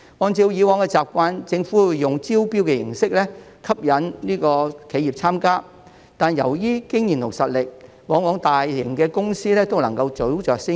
按照以往習慣，政府會以招標形式吸引企業參加，但由於經驗及實力，大型公司往往都能夠早着先機。